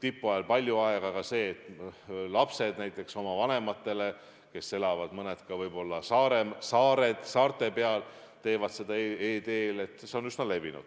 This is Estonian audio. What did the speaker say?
tipu ajal palju aega, aga näiteks see, et lapsed oma vanematele, kes elavad võib-olla ka saarte peal, tellivad e-teel, on üsna levinud.